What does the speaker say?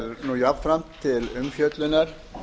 er jafnvel til umfjöllunar